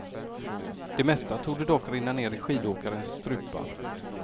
Det mesta torde dock rinna ned i skidåkares strupar.